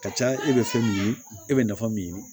Ka ca e bɛ fɛn min ye e bɛ nafa min